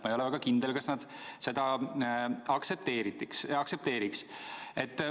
Ma ei ole väga kindel, kas nad seda aktsepteeriks.